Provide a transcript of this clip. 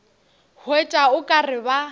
hwetša o ka re ba